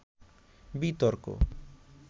বিতর্ক